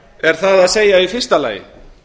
er það að segja í fyrsta lagi